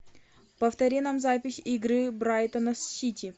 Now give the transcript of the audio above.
повтори нам запись игры брайтона с сити